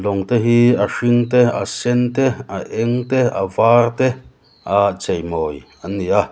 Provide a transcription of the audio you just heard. lawng te hi a hring te a sen te a eng te a var te a cheimawi an ni a.